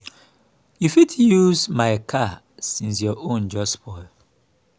you go fit use my car since your own just spoil